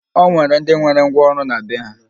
O nwere ndị nwere ngwaọrụ na be ha